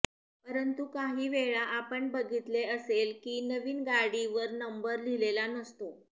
परंतु काही वेळा आपण बघितले असेल की नवीन गाडी वर नंबर लिहिलेला नसतो